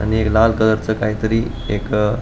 आणि एक लाल कलरच काहितरी एक अ --